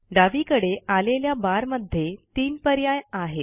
डावीकडे आलेल्या बारमध्ये तीन पर्याय आहेत